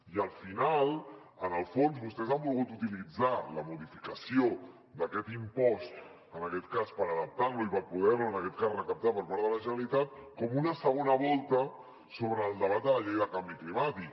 i al final en el fons vostès han volgut utilitzar la modificació d’aquest impost per adaptar lo i per poder en aquest cas recaptar per part de la generalitat com una segona volta sobre el debat de la llei de canvi climàtic